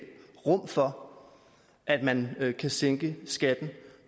rum for at man kan sænke skatten